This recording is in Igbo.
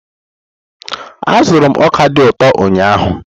Azụrụ m ọka dị ụtọ ụnyahụ.